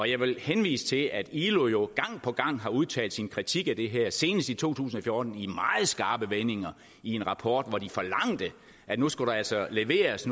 jeg vil henvise til at ilo gang på gang har udtalt sin kritik af det her senest i to tusind og fjorten i meget skarpe vendinger i en rapport hvor de forlangte at nu skulle der altså leveres